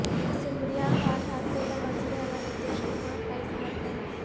سمریا گھاٹ حادثے پر وزیراعلی نتیش کمار کا اظہار غم